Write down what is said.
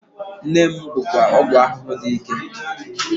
Neem bụkwa ọgwụ ahụhụ dị ike.